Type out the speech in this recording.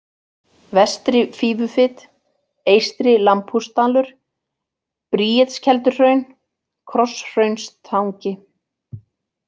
Vestri-Fífufit, Eystri-Lambhúsdalur, Bríetskelduhraun, Krosshraunstangi